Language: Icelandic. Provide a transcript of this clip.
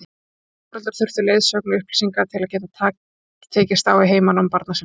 Margir foreldrar þurfa leiðsögn og upplýsingar til að geta tekist á við heimanám barna sinna.